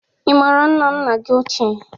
Ị mara nna nna gị ochie?